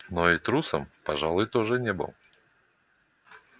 но и трусом пожалуй тоже не был